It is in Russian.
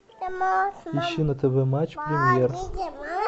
ищи на тв матч премьер